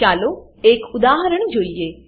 ચાલો એક ઉદાહરણ જોઈએ